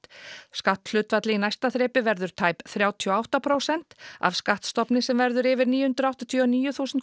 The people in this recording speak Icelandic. skatthlutfall í næsta þrepi verður tæp þrjátíu og átta prósent af skattstofni sem verður yfir níu hundruð áttatíu og níu þúsund